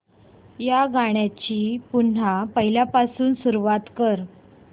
या गाण्या ची पुन्हा पहिल्यापासून सुरुवात कर